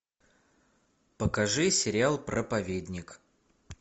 покажи сериал проповедник